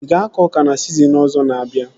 Ị ga-akọ ọka na sizinin ọzọ na-abịa?